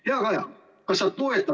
Hea Kaja!